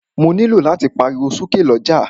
Mó nilò láti pariwo sọ̀rọ̀ ni ọjà.